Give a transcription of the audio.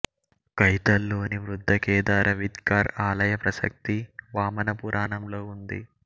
కైతల్ లోని వృద్ధకేదార విద్కార్ ఆలయ ప్రసక్తి వామన పురాణంలో ఉంది